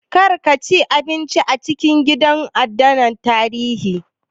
Kar ka ci abinci a cikin gidan adana tarihin